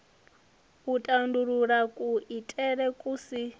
u tandulula kuitele ku si